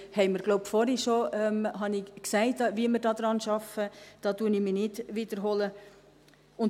Ich glaube, ich habe vorhin bereits gesagt, wie wir daran arbeiten, und ich wiederhole mich hier nicht.